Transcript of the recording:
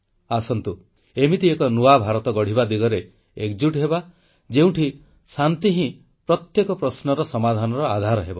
ଆସନ୍ତୁ ଏମିତି ଏକ ନୂଆ ଭାରତ ଗଢ଼ିବା ଦିଗରେ ଏକଜୁଟ ହେବା ଯେଉଁଠି ଶାନ୍ତି ହିଁ ପ୍ରତ୍ୟେକ ପ୍ରଶ୍ନର ସମାଧାନର ଆଧାର ହେବ